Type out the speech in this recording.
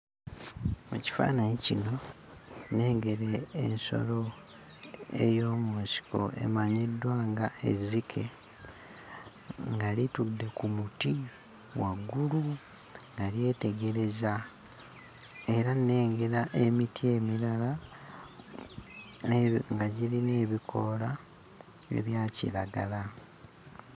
Mu kifaananyi kino, nnengera ensolo ey'omu nsiko emanyiddwa ng'ezzike, nga litudde ku muti waggulu nga lyetegereza. Era nnengera emiti emirala nga girina ebikoola ebya kiragala.